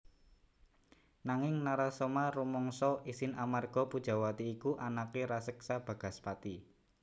Nanging Narasoma rumangsa isin amarga Pujawati iku anaké raseksa Bagaspati